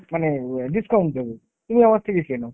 মানে অ্যাঁ discount দেব। তুমি আমার থেকে কেনো